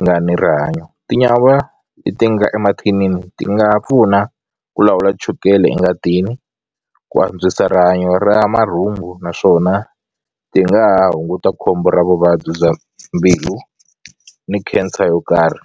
nga ni rihanyo tinyawa leti nga emathinini ti nga pfuna ku lawula chukele engatini ku antswisa rihanyo ra marhumbu naswona ti nga ha hunguta khombo ra vuvabyi bya mbilu ni cancer yo karhi.